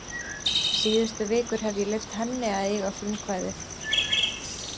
Síðustu vikur hef ég leyft henni að eiga frumkvæðið.